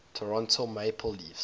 toronto maple leafs